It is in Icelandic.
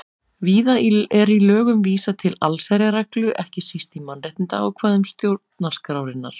Víða er í lögum vísað til allsherjarreglu, ekki síst í mannréttindaákvæðum stjórnarskrárinnar.